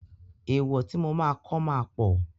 Èèwọ̀ tí mo máa kọ́ ma pọ̀.